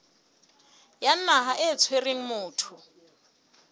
ya naha e tshwereng motho